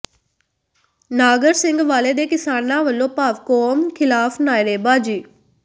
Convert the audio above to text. ਨਾਗਰ ਸਿੰਘ ਵਾਲੇ ਦੇ ਕਿਸਾਨਾਂ ਵੱਲੋਂ ਪਾਵਰਕੌਮ ਖ਼ਿਲਾਫ਼ ਨਾਅਰੇਬਾਜ਼ੀ